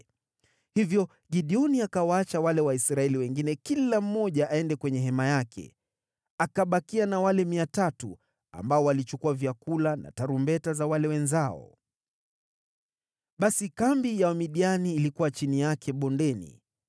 Hivyo Gideoni akawaacha wale Waisraeli wengine kila mmoja aende kwenye hema yake. Akabakia na wale 300, ambao walichukua vyakula na tarumbeta za wale wenzao. Basi kambi ya Wamidiani ilikuwa chini yake bondeni.